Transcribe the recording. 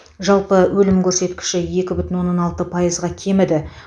жалпы өлім көрсеткіші екі бүтін оннан алты пайызға кеміді